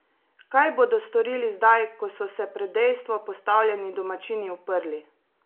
Kaj bodo storili zdaj, ko so se pred dejstvo postavljeni domačini uprli?